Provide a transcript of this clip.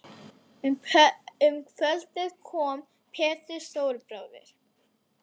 Um kvöldið kom Pétur stóri bróðir